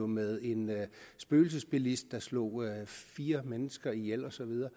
med en spøgelsesbilist der slog fire mennesker ihjel og så videre